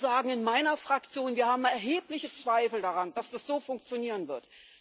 Wir sagen in meiner Fraktion Wir haben erhebliche Zweifel daran, dass das so funktionieren wird.